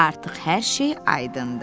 Artıq hər şey aydındır.